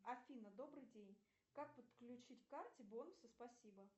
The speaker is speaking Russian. афина добрый день как подключить к карте бонусы спасибо